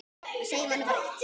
Það segir manni bara eitt.